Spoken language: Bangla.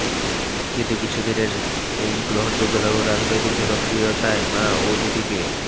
কিন্তু কিছু দিনেই গ্রহণযোগ্যতা ও রাজনৈতিক জনপ্রিয়তায় মা ও দিদিকে